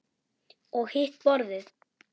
Og hitt borðið?